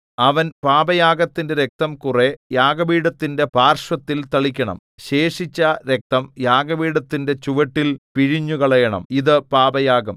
അവൻ പാപയാഗത്തിന്റെ രക്തം കുറെ യാഗപീഠത്തിന്റെ പാർശ്വത്തിൽ തളിക്കണം ശേഷിച്ച രക്തം യാഗപീഠത്തിന്റെ ചുവട്ടിൽ പിഴിഞ്ഞുകളയണം ഇതു പാപയാഗം